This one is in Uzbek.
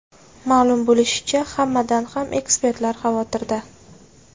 Ma’lum bo‘lishicha, hammadan ham ekspertlar xavotirda.